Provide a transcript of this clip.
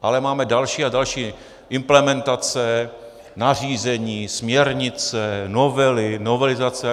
Ale máme další a další implementace, nařízení, směrnice, novely, novelizace.